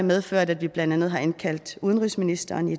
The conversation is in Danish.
medført at vi blandt andet har indkaldt udenrigsministeren i